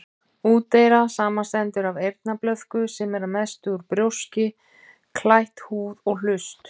Úteyra samanstendur af eyrnablöðku, sem er að mestu út brjóski, klætt húð, og hlust.